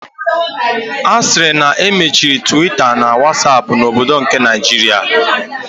Asiri na emechiri Twitter na Whatsapp na obodo nke Naijiria.